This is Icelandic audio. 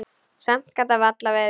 Samt gat það varla verið.